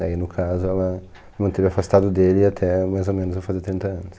Daí no caso ela manteve afastado dele até mais ou menos eu fazer trinta anos.